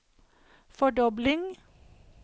fordobling